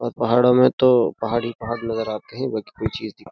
और पहाड़ों में तो पहाड़ ही पहाड़ नजर आते हैं बाकी कोई चीज --